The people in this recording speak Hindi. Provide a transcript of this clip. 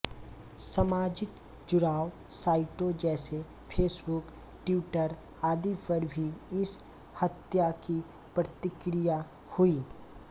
सामाजिक जुड़ाव साइटों जैसे फेसबुक ट्वीटर आदि पर भी इस हत्या की प्रतिक्रिया हुई